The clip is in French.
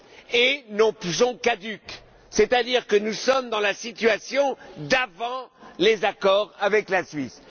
et sont caduques, c'est à dire que nous sommes dans la situation d'avant les accords avec la Suisse.